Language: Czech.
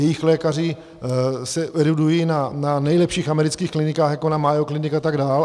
Jejich lékaři se erudují na nejlepších amerických klinikách, jako na Mayo Clinic a tak dál.